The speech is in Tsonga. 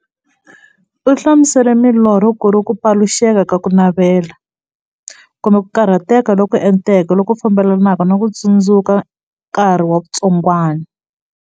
U hlamusele milorho kuri ku paluxeka ka kunavela, kumbe ku karhateka loku enteke loku fambelanaka na ku tsundzuka nkarhi wa vutsongwana.